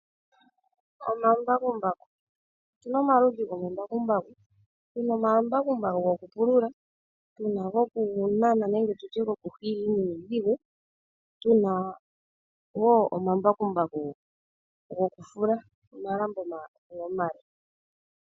Omambakumbaku. Otu na omaludhi gomambakumbaku. Tu na omambakumbaku gokupulula, tu na gokunana nenge gokuhila iinima iidhigu, tu na wo omambakumbaku gokufula omalambo omale.